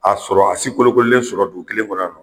A sɔrɔ a si kolokololen sɔrɔ dugu kelen kɔnɔ yan nɔ